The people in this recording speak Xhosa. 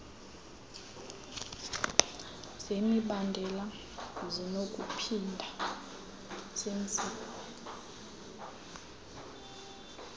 zemibandela zinokuphinda zenziwe